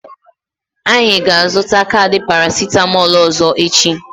Anyị ga-azụta kaadị parasitamolu ọzọ echi.